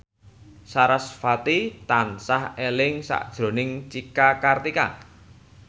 sarasvati tansah eling sakjroning Cika Kartika